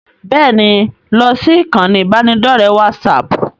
Bẹ́ẹ̀ni, lọ sí ìkànnì ibanidọ̀rẹ́ WhatsApp.